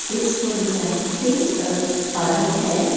इस फोटोग्राफ पे अ एक पारक है।